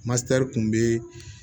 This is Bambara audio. Matɛri kun bee